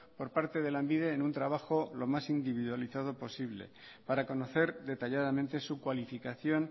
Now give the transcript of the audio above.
por parte de lanbide en un trabajo lo más individualizado posible para conocer detalladamente su cualificación